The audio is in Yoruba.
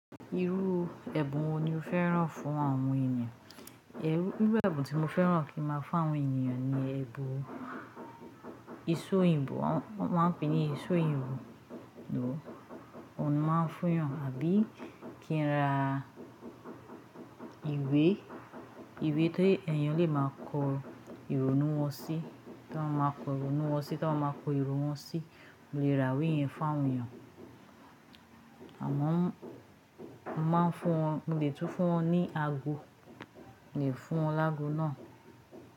Irú ẹ̀bùn wo ni o fẹ́ràn fún àwọn èeyan? Irú, irú ẹ̀bùn tí mo fẹ́ràn kí n máa fún àwọn ènìyàn ni ẹ̀bùn, ìṣó oyinbo, wọ́n máa ń pè ní ìṣó oyinbo, lò óun máa ń fún yan, àbí kí n ra ìwé, ìwé tó èèyàn lè máa kọ ìrònú wọn sí, tí wọ́n máa kọ ìrònú wọn sí, tí wọ́n máa kọ ìrònú wọn sí, mo lè ra ìwé yẹn fún àwọn ènìyàn. Àmọ́ mo máa ń fún wọn, mo lè tún fún wọn ní ago, lè fún wọn lágo náà.